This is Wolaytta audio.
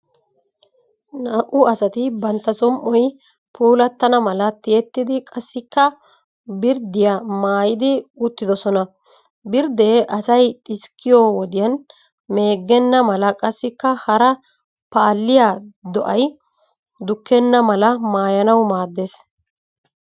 Naa"u asati bantta som"oy puulattana mala tiyettidi qassikka birddiya maayidi uttidosona. Birddee asay xiskkiyo wodiyan meeggenna mala qassika hara paalliya do'ay dukkenna mala maayanawu maaddes.